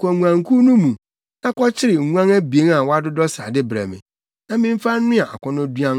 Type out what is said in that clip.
Kɔ nguankuw no mu, na kɔkyere nguan abien a wɔadodɔ srade brɛ me, na memfa nnoa akɔnnɔduan,